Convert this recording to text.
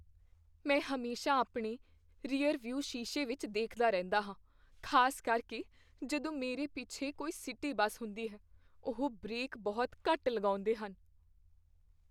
ਮੈਂ ਹਮੇਸ਼ਾ ਆਪਣੇ ਰੀਅਰਵਿਊ ਸ਼ੀਸ਼ੇ ਵਿੱਚ ਦੇਖਦਾ ਰਹਿੰਦਾ ਹਾਂ, ਖ਼ਾਸ ਕਰਕੇ ਜਦੋਂ ਮੇਰੇ ਪਿੱਛੇ ਕੋਈ ਸਿਟੀ ਬੱਸ ਹੁੰਦੀ ਹੈ। ਉਹ ਬ੍ਰੇਕ ਬਹੁਤ ਘੱਟ ਲਗਾਉਂਦੇ ਹਨ।